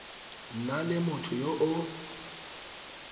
nna le motho yo o